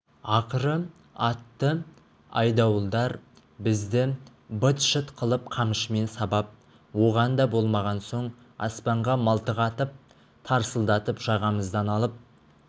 ақыры атты айдауылдар бізді быт-шыт қылып қамшымен сабап оған да болмаған соң аспанға мылтық атып тарсылдатып жағамыздан алып